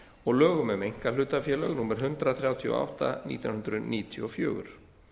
og lögum um einkahlutafélög númer hundrað þrjátíu og átta nítján hundruð níutíu og fjögur